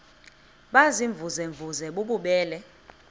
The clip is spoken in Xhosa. baziimvuze mvuze bububele